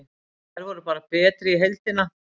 Þær voru bara betri í heildina.